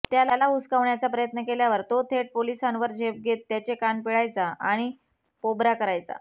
त्याला हुसकावण्याचा प्रयत्न केल्यावर तो थेट पोलिसांवर झेप घेत त्यांचे कान पिळायचा आणि पोबरा करायचा